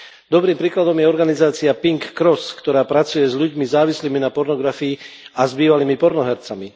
Dobrým príkladom je organizácia Pink cross, ktorá pracuje s ľuďmi závislými na pornografii a s bývalými pornohercami.